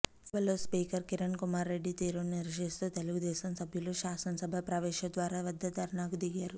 సభలో స్పీకర్ కిరణ్ కుమార్ రెడ్డి తీరును నిరసిస్తూ తెలుగుదేశం సభ్యులు శాసనసభ ప్రవేశద్వార వద్ద ధర్నాకు దిగారు